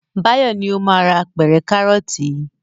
Báyọ̀ ni ó máa ra apẹ̀rẹ̀ kárọ́tì yìí.